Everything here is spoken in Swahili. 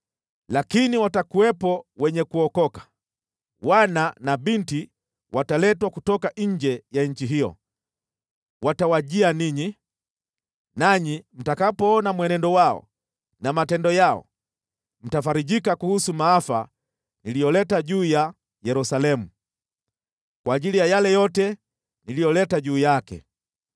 Lakini watakuwepo wenye kuokoka, wana na binti wataletwa kutoka nje ya nchi hiyo. Watawajia ninyi, nanyi mtakapoona mwenendo wao na matendo yao, mtafarijika kuhusu maafa niliyoleta juu ya Yerusalemu, kwa ajili ya yale yote niliyoleta juu yake.